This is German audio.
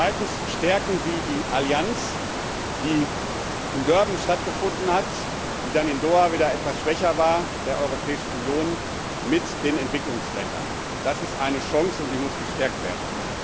Zweitens Stärken Sie die Allianz die in Durban stattgefunden hat, die dann in Doha wieder etwas schwächer war der Europäischen Union mit den Entwicklungsländern! Das ist eine Chance, und die muss gestärkt werden.